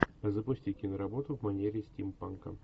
запусти киноработу в манере стимпанка